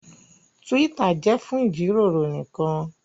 Twitter jẹ fún jíròrò nìkàn.